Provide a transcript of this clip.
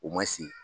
O ma se